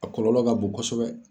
A kɔlɔlɔ ka bon kosɛbɛ.